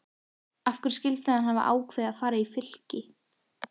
Af hverju skyldi hann hafa ákveðið að fara í Fylki?